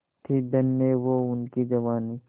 थी धन्य वो उनकी जवानी